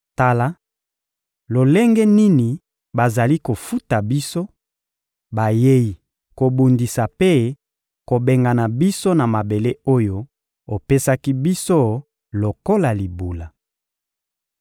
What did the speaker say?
Tala lolenge nini bazali kofuta biso: bayei kobundisa mpe kobengana biso na mabele oyo opesaki biso lokola libula!